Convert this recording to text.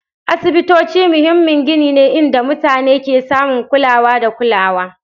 Asibitoci muhimmin gini ne inda mutane ke samun kulawa da kulawa